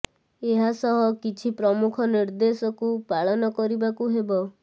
ଏହା ସହ କିଛି ପ୍ରମୁଖ ନିର୍ଦେଶକୁ ପାଳନ କରିବାକୁ ହେବ